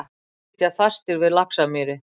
Sitja fastir við Laxamýri